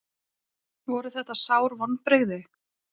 Voru þetta sár vonbrigði?